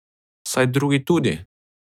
Saj drugi tudi!